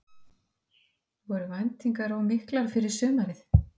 Voru væntingarnar of miklar fyrir sumarið?